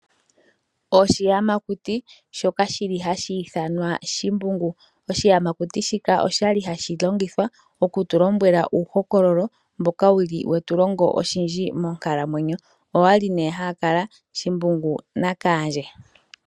Oshiyamakuti shoka shi li hashi ithanwa Shimbungu . Oshiyamakuti shika osha li hashi longithwa ku tu lombwela uuhokololo mboka wu li we tu longo oshindji monkalamwenyo. Owa li nee hawu kala Shimbungu naKaandje.